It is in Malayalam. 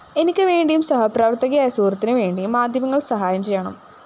എനിക്ക് വേണ്ടിയും സഹപ്രവര്‍ത്തകയായ സുഹൃത്തിന് വേണ്ടിയും മാധ്യമങ്ങള്‍ സഹായം ചെയ്യണം